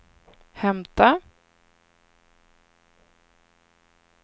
hämta